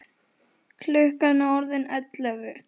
Klukkan er orðin ellefu.